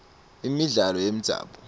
imidlalo yemdzabu